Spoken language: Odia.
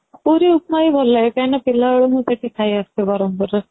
ପୁରୀ ଉପମା ହି ଭଲ ଲାଗେ କାହିଁକି ନା ପିଲା ବେଳୁ ମୁଁ ସେଠି ଖାଇ ଆସୁଛି ବରମପୁର ରେ